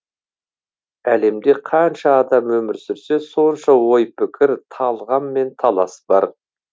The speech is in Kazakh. әлемде қанша адам өмір сүрсе сонша ой пікір талғам мен талас бар